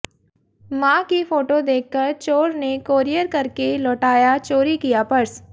मां की फोटो देखकर चोर ने कोरियर करके लौटाया चोरी किया पर्स